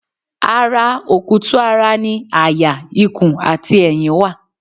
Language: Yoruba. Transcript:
Ara okutu-ara ni àyà ikùn àti ẹ̀yìn wà